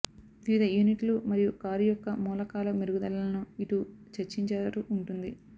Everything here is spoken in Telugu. వివిధ యూనిట్లు మరియు కారు యొక్క మూలకాల మెరుగుదలలను ఇటు చర్చించారు ఉంటుంది